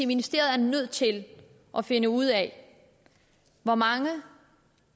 ministeriet er nødt til at finde ud af hvor mange